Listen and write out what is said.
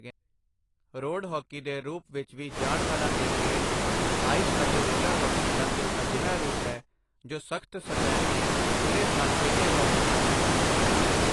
Road hockey ਦੇ ਰੂਪ ਵਿੱਚ ਵੀ ਜਾਣ ਵਾਲਾ ਇਹ ਖੇਡ, ਆਇਸ ਅਤੇ ਰੋਲਰ ਹਾਕੀ ਦਾ ਇੱਕ ਅਹਿਜਾ ਰੂਪ ਹੈ ਜੋ ਸਖ਼ਤ ਸਤਹ 'ਤੇ ਪੂਰੇ ਸਾਲ ਖੇਡਿਆ ਜਾ ਸਕਦਾ ਹੈ।